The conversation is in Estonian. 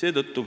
Seetõttu